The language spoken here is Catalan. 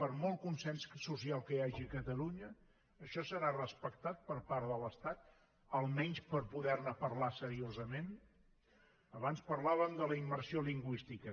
per molt consens social que hi hagi a catalunya això serà respectat per part de l’estat almenys per poderne parlar seriosament abans parlàvem de la immersió lingüística